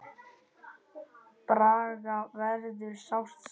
Braga verður sárt saknað.